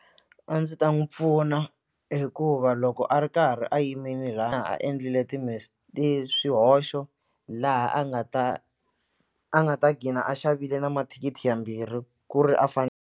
A ndzi ta n'wi pfuna hikuva loko a ri karhi a yimile laha a endlile swihoxo laha a nga ta a nga ta gqina a xavile na mathikithi mambirhi ku ri a .